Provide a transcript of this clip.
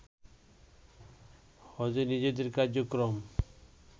হজে নিজেদের কার্যক্রম